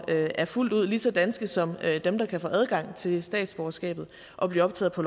er fuldt ud lige så danske som dem der kan få adgang til statsborgerskabet og blive optaget på